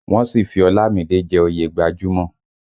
Wọ́n sì fi Ọlámìídé jẹ́ oyè gbajúmò